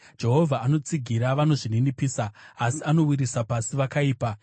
Jehovha anotsigira vanozvininipisa, asi anowisira pasi vakaipa.